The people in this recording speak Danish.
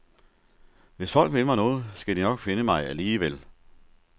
Hvis folk vil mig noget, skal de nok finde mig alligevel.